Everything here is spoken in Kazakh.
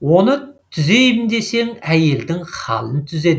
оны түзейім десең әйелдің халін түзе деген сөзі еске түседі